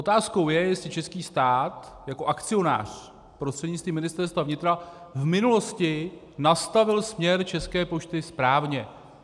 Otázkou je, jestli český stát jako akcionář prostřednictvím Ministerstva vnitra v minulosti nastavil směr České pošty správně.